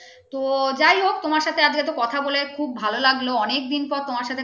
তো যাই হোক তোমার সাথে আর তো কথা বলে খুব ভালো লাগলো